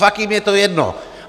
Fakt jim je to jedno!